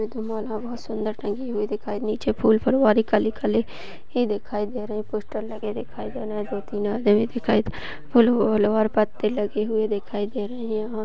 यहाँ दो माला बहुत सुंदर टंगी हुई दिखाई नीचे फूल फुलवारी खाली खाली ही दिखाई दे रही पोस्टर लगे दिखाई दे रहे दो तीन आदमी दिखाई दे फूल ल--ल और पत्त लगे हुए दिखाई दे रहे यहाँ--